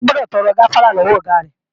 O gbọdọ̀ lọ tọrọ gáfárá lọ́wọ Ọ̀gá rẹ!